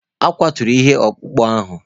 E kwaturu ihe ọkpụkpụ ahụ